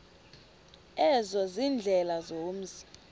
ezo ziindlela zomzi